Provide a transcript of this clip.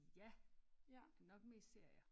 Ja det nok mest serier